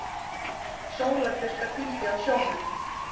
Sólarbirta hvíldi á sjónum.